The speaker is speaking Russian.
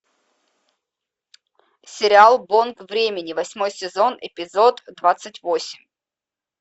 сериал бонг времени восьмой сезон эпизод двадцать восемь